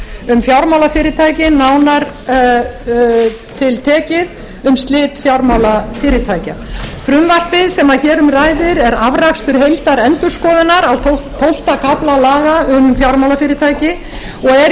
tvö þúsund og tvö um fjármálafyrirtæki nánar tiltekið um slit fjármálafyrirtækja frumvarpið sem hér um ræðir er afrakstur heildarendurskoðunar á tólfta kafla laga um fjármálafyrirtæki og er